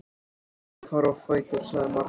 Ég er að fara á fætur, sagði Margrét.